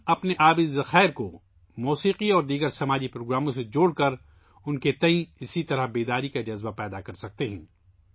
ہم اپنے آبی ذخائر کو موسیقی اور دیگر سماجی پروگراموں سے جوڑکر ان کے بارے میں بیداری کا اسی طرح کا احساس پیدا کرسکتے ہیں